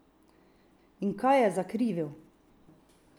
In kaj je zakrivil?